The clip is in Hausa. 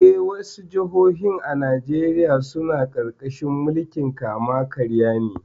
Eh, wasu jihohi a Najeriya suna ƙarƙashin mulkin kama-karya ne.